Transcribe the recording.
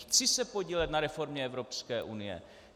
Chci se podílet na reformě Evropské unie.